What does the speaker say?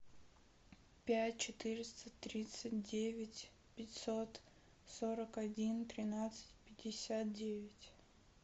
пять четыреста тридцать девять пятьсот сорок один тринадцать пятьдесят девять